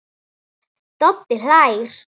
Doddi hlær.